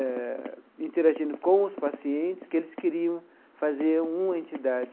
eh, interagindo com os pacientes, que eles queriam fazer uma entidade.